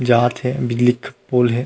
जात हे पुल हे।